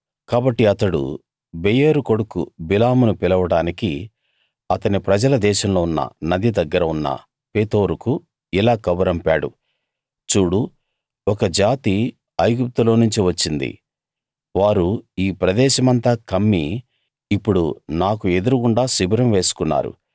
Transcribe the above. కాబట్టి అతడు బెయోరు కొడుకు బిలామును పిలవడానికి అతని ప్రజల దేశంలో ఉన్న నది దగ్గర ఉన్న పెతోరుకు ఇలా కబురంపారు చూడు ఒక జాతి ఐగుప్తులోనుంచి వచ్చింది వారు ఈ ప్రదేశమంతా కమ్మి ఇప్పుడు నాకు ఎదురు గుండా శిబిరం వేసుకున్నారు